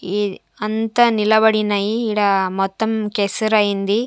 ఈ అంతా నిలబడినాయి ఈడ మొత్తం కెసర అయింది.